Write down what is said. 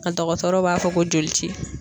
N ka dɔgɔtɔrɔ b'a fɔ ko joli ci.